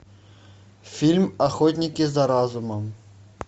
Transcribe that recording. фильм охотники за разумом